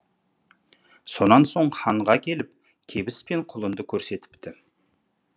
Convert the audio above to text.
сонан соң ханға келіп кебіс пен құлынды көрсетіпті